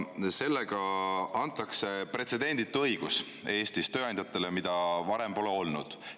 Sellega antakse Eestis tööandjatele pretsedenditu õigus, mida varem pole olnud.